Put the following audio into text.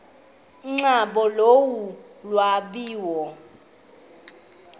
nkqubo yolu lwabiwo